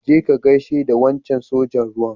Je ka ka gaishe da wancan sojan ruwan.